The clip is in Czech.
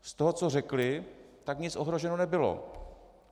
Z toho, co řekli, tak nic ohroženo nebylo.